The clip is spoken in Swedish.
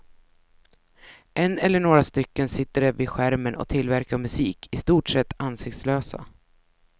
En eller några stycken sitter de vid skärmen och tillverkar musik, i stort sett ansiktslösa.